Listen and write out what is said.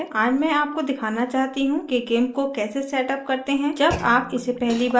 आज मैं आपको दिखाना चाहती how कि gimp को कैसे set अप करते हैं जब आप इसे पहली बार प्रयोग कर रहे हों